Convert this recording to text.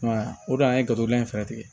I m'a ye o don an ye gato dilan in fɛɛrɛ tigɛ